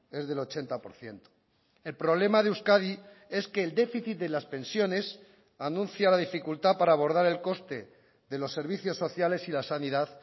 es del ochenta por ciento el problema de euskadi es que el déficit de las pensiones anuncia la dificultad para abordar el coste de los servicios sociales y la sanidad